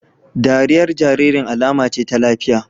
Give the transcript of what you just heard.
Dariyar jaririn alama ce ta lafiya